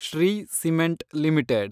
Shri cement limited